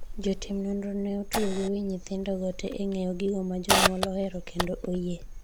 jotim nonro ne otugo gi wi nyithindogo te e ng'iyo gigo ma jonyuol ohero kendo oyie